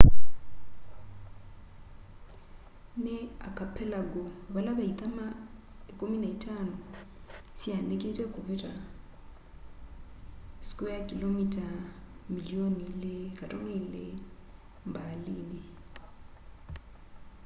ni archipelago vala ve ithama 15 syaanikite kuvita milioni 2.2 km2 mbaalini